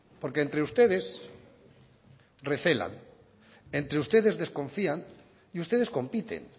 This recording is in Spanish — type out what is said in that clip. porque entre ustedes recelan entre ustedes desconfían y ustedes compiten